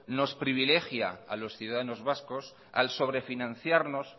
nos privilegia a los ciudadanos vascos al sobrefinanciarnos